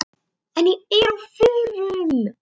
En ég er á förum.